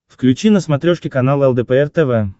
включи на смотрешке канал лдпр тв